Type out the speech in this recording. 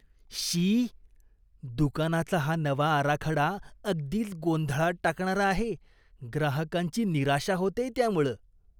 शी, दुकानाचा हा नवा आराखडा अगदीच गोंधळात टाकणारा आहे. ग्राहकांची निराशा होतेय त्यामुळं.